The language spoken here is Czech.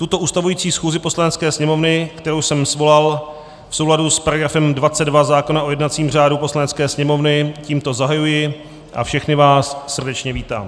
Tuto ustavující schůzi Poslanecké sněmovny, kterou jsem svolal v souladu s § 22 zákona o jednacím řádu Poslanecké sněmovny, tímto zahajuji a všechny vás srdečně vítám.